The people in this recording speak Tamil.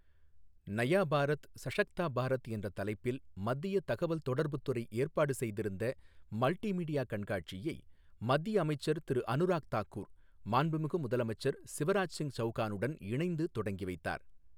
நயா பாரத் சஷக்தா பாரத் என்ற தலைப்பில் மத்திய தகவல் தொடர்புத் துறை ஏற்பாடு செய்திருந்த மல்டி மீடியா கண்காட்சியை மத்திய அமைச்சர் திரு அனுராக் தாக்கூர், மாண்புமிகு முதலமைச்சர் சிவராஜ் சிங் சவுகானுடன் இணைந்து தொடங்கி வைத்தார்.